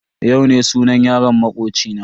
Yau ne sunan yaron makoci na.